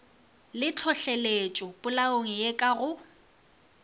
le tlhohleletšopolaong ye ka go